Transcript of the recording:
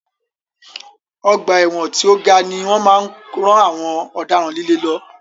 Ọgbà ẹ̀wọ̀n tí o ga ni wọ́n máa ń rán àwọn ọ̀daràn líle lọ.